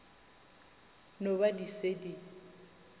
no ba di se di